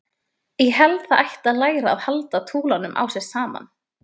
Ég held það ætti að læra að halda túlanum á sér saman.